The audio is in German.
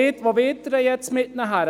Wo wollen Sie mit ihnen hin?